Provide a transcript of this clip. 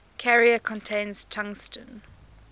carrier contains tungsten